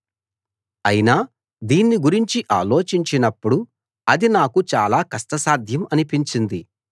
అయినా దీన్ని గురించి ఆలోచించినప్పుడు అది నాకు చాలా కష్టసాధ్యం అనిపించింది